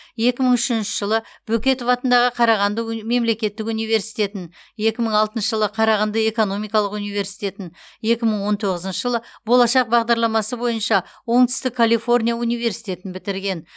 екі мың үшінші жылы бөкетов атындағы қарағанды мемлекеттік университетін екі мың алтыншы жылы қарағанды экономикалық университетін екі мың он тоғызыншы жылы болашақ бағдарламасы бойынша оңтүстік калифорния университетін бітірген